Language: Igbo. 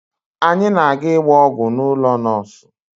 Anyị na-aga ịgba ọgwụ n'ụlọ nọọsụ